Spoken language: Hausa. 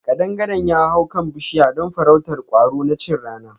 Ƙadangaren ya hau kan bushiya don farrautar kwaro na chin rana.